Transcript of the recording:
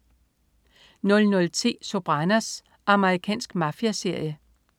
00.10 Sopranos. Amerikansk mafiaserie